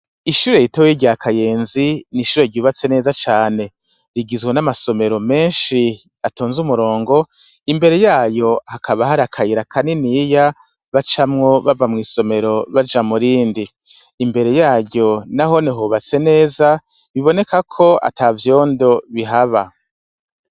Ishure riteweye iryakayenzi nishure ryubatse neza cane rigizwe n'amasomero menshi atonze umurongo imbere yayo hakaba hari akayira kaniniya bacamwo bava mw'isomero baja murindi imbere yayo na honehubatse neza biboneka ko ata vyondo bihaba.